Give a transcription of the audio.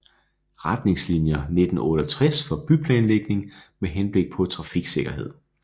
Retningslinier 1968 for byplanlægning med henblik på trafiksikkerhed